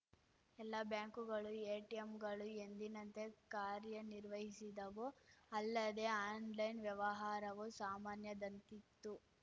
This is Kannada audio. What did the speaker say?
ಎಲ್ಲ ಬ್ಯಾಂಕುಗಳು ಎಟಿಎಂಗಳು ಎಂದಿನಂತೆ ಕಾರ್ಯನಿರ್ವಹಿಸಿದವು ಅಲ್ಲದೆ ಆನ್‌ಲೈನ್‌ ವ್ಯವಹಾರವೂ ಸಾಮಾನ್ಯದಂತಿತ್ತು